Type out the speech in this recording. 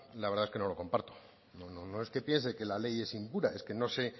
la verdad es que no lo comparto no es que piense que la ley es impura es que no sé